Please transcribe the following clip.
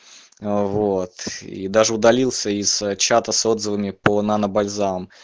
вот и даже удалился из чата с отзывами по нано бальзам